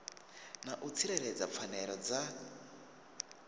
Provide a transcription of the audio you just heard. na u tsireledza pfanelo dza